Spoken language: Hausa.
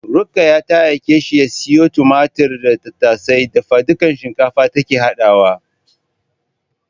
Ruqayya ta aike shi ya siyo tumatir da tattasai. Dafadukan shinkafa take haɗawa.